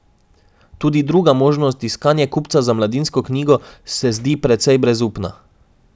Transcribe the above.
Tudi druga možnost, iskanje kupca za Mladinsko knjigo, se zdi precej brezupna.